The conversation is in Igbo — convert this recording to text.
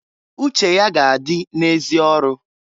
Uche ya ga -adị na -ezi ọrụ.